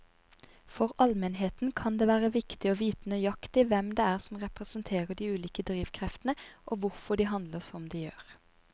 For allmennheten kan det være viktig å vite nøyaktig hvem det er som representerer de ulike drivkreftene og hvorfor de handler som de gjør.